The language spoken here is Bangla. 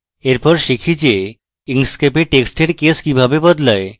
এরপর আমরা শিখি যে inkscape এ টেক্সটের case কিভাবে বদলায়